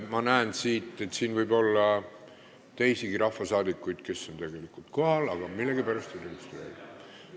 Ma näen siit, et saalis võib olla teisigi rahvasaadikuid, kes on tegelikult kohal, aga millegipärast ei saa oma kohalolekut registreerida.